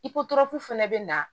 I ko durafu fana bɛ na